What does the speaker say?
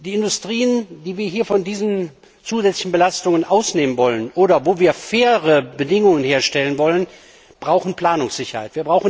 Die Industrien, die wir hier von diesen zusätzlichen Belastungen ausnehmen wollen oder wo wir faire Bedingungen herstellen wollen, brauchen Planungssicherheit.